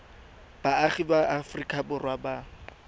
baagi ba aforika borwa ba